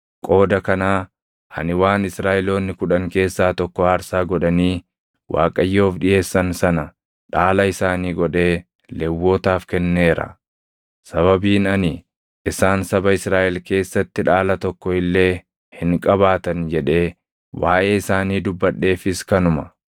Qooda kanaa ani waan Israaʼeloonni kudhan keessaa tokko aarsaa godhanii Waaqayyoof dhiʼeessan sana dhaala isaanii godhee Lewwotaaf kenneera. Sababiin ani, ‘Isaan saba Israaʼel keessatti dhaala tokko illee hin qabaatan’ jedhee waaʼee isaanii dubbadheefis kanuma.”